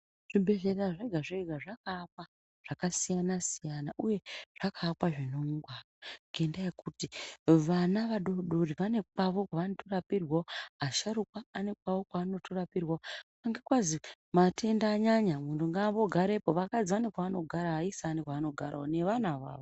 Zvibhedhlera zvega zvega zvakaakwa zvakasiyana siyana uye zvakaakwa zvine ungwaru ngendaa yekuti vana vadodori vane kwawo kwanorapurwawo vasharukwa vane kwawo kwavanorapurwawo anga kwazi matenda anyanya muntu ngaambogarepo vakadzi vane kwanogara vaisa vane kwanogarawo nevana avavo.